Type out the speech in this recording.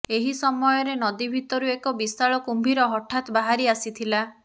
ଏହି ସମୟରେ ନଦୀ ଭିତରୁ ଏକ ବିଶାଳ କୁମ୍ଭୀର ହଠାତ୍ ବାହାରି ଆସିଥିଲା